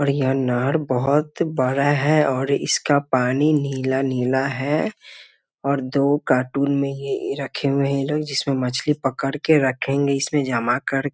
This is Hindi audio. और यह नहर बहुत बड़ा है और इसका पानी नीला-नीला है और दो कार्टून में ही ए रखे हुए हैं ये लोग जिसमें मछली पकड़ के रखेंगे इसमें जमा कर --